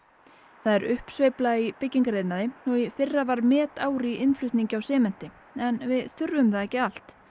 það er uppsveifla í byggingariðnaði og í fyrra var metár í innflutningi á sementi en við þurfum það ekki allt